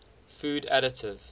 food additive